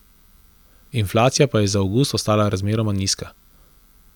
Inflacija pa je za avgust ostala razmeroma nizka.